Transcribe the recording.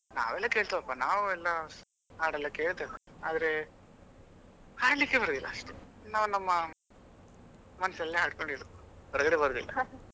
ನಾವೆಲ್ಲಾ ಕೇಳ್ತೇವಪ್ಪ ನಾವೆಲ್ಲಾ ಹಾಡೆಲ್ಲ ಕೇಳ್ತೇವೆ ಆದರೆ ಹಾಡ್ಲಿಕ್ಕೆ ಬರೋದಿಲ್ಲ ಅಷ್ಟೇ ನಾವು ನಮ್ಮ ಮನ್ಸಲ್ಲೇ ಹಾಕ್ಕೊಂಡಿರೋದು ಹೊರಗಡೆ ಬರೋದಿಲ್ಲ.